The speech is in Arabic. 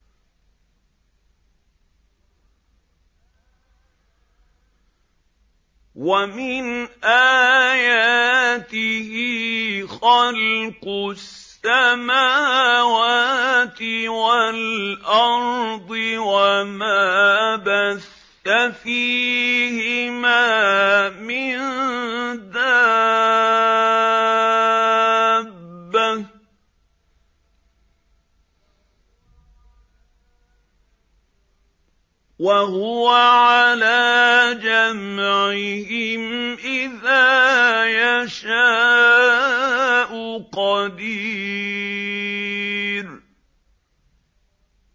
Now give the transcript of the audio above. وَمِنْ آيَاتِهِ خَلْقُ السَّمَاوَاتِ وَالْأَرْضِ وَمَا بَثَّ فِيهِمَا مِن دَابَّةٍ ۚ وَهُوَ عَلَىٰ جَمْعِهِمْ إِذَا يَشَاءُ قَدِيرٌ